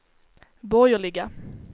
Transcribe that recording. borgerliga